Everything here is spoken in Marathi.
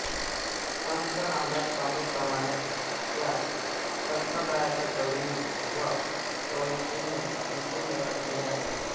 संत रामदास स्वामींप्रमाणेच या संप्रदायाच्या कवींनी व कवयित्रींनी विपुल लेखन केले आहे